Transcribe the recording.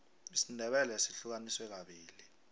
isindebele sihlukaniswe kabili